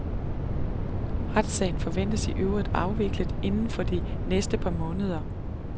Retssagen forventes i øvrigt afviklet inden for de næste par måneder.